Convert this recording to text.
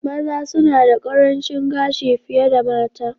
Maza suna da ƙarancin gashi fiye da mata.